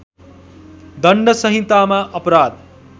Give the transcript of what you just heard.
दण्ड संहितामा अपराध